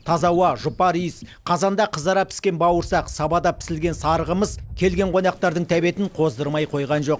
таза ауа жұпар иіс қазанда қызара піскен бауырсақ сабада пісілген сары қымыз келген қонақтардың тәбетін қоздырмай қойған жоқ